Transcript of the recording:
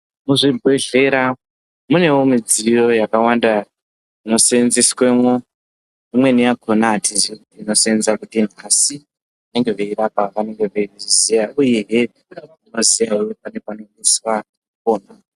Muzvibhehlera munewo midziyo yakawamda inoseenzeswemwo imweni yakona hatizii kuti inoseenza kudini asi vanenge veirapa vanenge veizviziya uyehe vanoziyahe panenge peisiswa kupona.